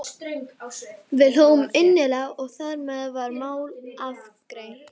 Við hlógum innilega og þar með var það mál afgreitt.